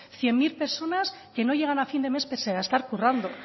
cien mil personas que no llegan a fin de mes pese a estar currando